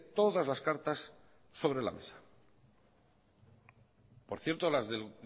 todas las cartas sobre la mesa por cierto las del